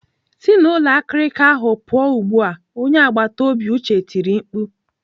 "Si n'ụlọ akirika ahụ pụọ ugbu a!" Onye agbataobi Uche tirii mkpu.